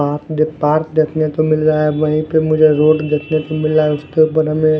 पास में पार्क देखने को मिल रहा है वहीं पे मुझे रोड देखने से मिल रहा है उसके बगल में एक--